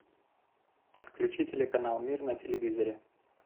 включи телеканал мир на телевизоре